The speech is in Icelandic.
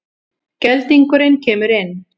Geldingurinn kemur inn.